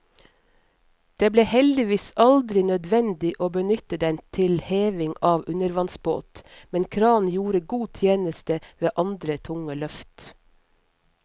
Det ble heldigvis aldri nødvendig å benytte den til heving av undervannsbåt, men kranen gjorde god tjeneste ved andre tunge løft.